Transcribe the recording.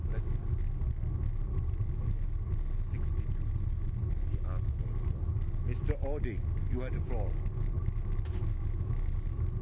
Monsieur le Président, ce soir et demain, il y a un Conseil européen, et je voudrais intervenir sur la base de l'article 15 du traité sur